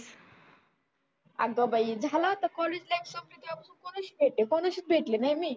आग बाई झालं आता कॉलेज टाइम संपला कोणाशीच भेटले नाही मी.